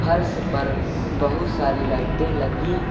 फर्श पर बहुत सारी लाइटें लगी--